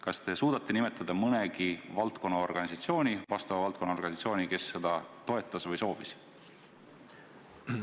Kas te suudate nimetada mõne vastava valdkonna organisatsiooni, kes seda ettepanekut toetas või seda soovis?